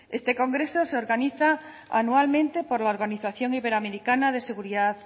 este congreso se organiza anualmente por la organización iberoamericana de seguridad